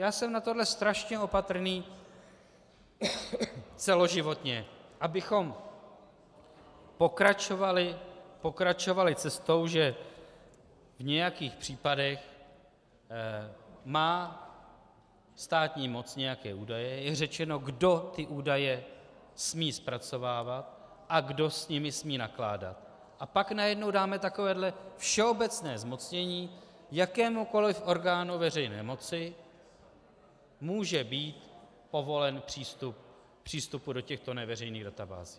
Já jsem na tohle strašně opatrný celoživotně, abychom pokračovali cestou, že v nějakých případech má státní moc nějaké údaje, je řečeno, kdo ty údaje smí zpracovávat a kdo s nimi smí nakládat, a pak najednou dáme takovéhle všeobecné zmocnění, jakémukoliv orgánu veřejné moci může být povolen přístup do těchto neveřejných databází.